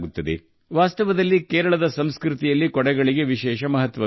ಒಂದು ರೀತಿಯಲ್ಲಿ ಕೇರಳದ ಸಂಸ್ಕೃತಿಯಲ್ಲಿ ಕೊಡೆಗಳಿಗೆ ವಿಶೇಷವಾದ ಮಹತ್ವವಿದೆ